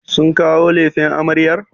Sun kawo lefen amaryar?